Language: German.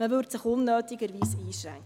Man würde sich unnötig einschränken.